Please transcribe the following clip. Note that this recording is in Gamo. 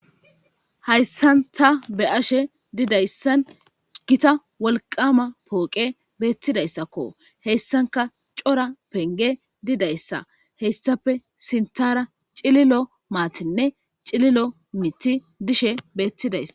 hayssan ta be7ashe didayssan gita wolqama pooqe beettidayssakko heyssanka cora penge didayssa heyssape sintara cililo maatinne cililo mithi dishe beettidaysa.